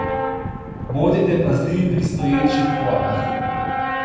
Bodite pazljivi pri stoječih vodah.